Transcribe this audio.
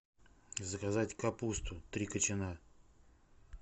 заказать капусту три кочана